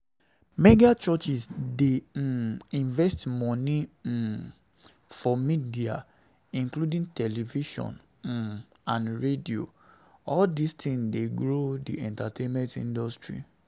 Megachurches dey um invest money um for media including television um and radio, all these things dey grow di entertainment industry